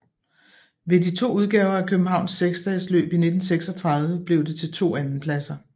Ved de to udgaver af Københavns seksdagesløb i 1936 blev det til to andenpladser